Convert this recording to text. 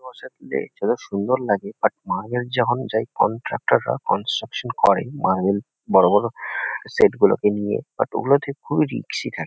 বসে থাকলে যত সুন্দর লাগে বাট মার্বেল যখন যাই কন্ট্রাকটর -রা কন্সট্রাকশান করে মার্বেল বড়ো বড়ো সেটগুলোকে নিয়ে বাট ওগুলঠিক খুব রিক্সি থাকে।